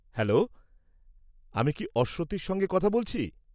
-Hello, আমি কি অশ্বতীর সঙ্গে কথা বলছি?